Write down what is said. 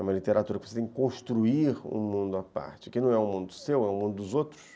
É uma literatura que precisa construir um mundo à parte, que não é um mundo seu, é um mundo dos outros.